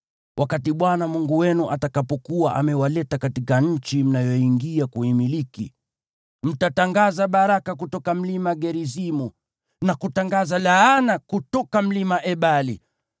Wakati Bwana Mungu wenu atakapokuwa amewaleta katika nchi mnayoiingia kuimiliki, mtatangaza baraka kutoka Mlima Gerizimu, na kutangaza laana kutoka Mlima Ebali.